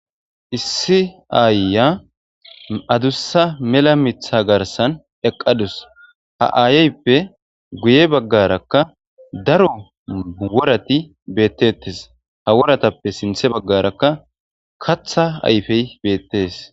Issi aayya adussa mela mitha garsan eqqadus ha aayeyppe guye baggarakka daro worati beettettes ha woratappe sinthe baggarakka katha ayfey beettees